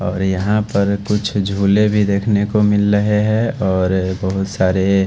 और यहां पर कुछ झूले भी देखने को मिल रहे हैं और बहोत सारे--